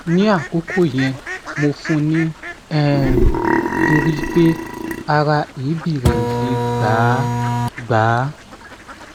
ni akoko yen mo fun ni um tori pe ara ebi re o le gba gba